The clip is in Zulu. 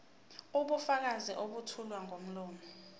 ubufakazi obethulwa ngomlomo